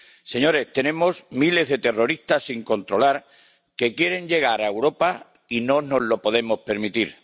Señorías, tenemos miles de terroristas sin controlar que quieren llegar a Europa y no nos lo podemos permitir.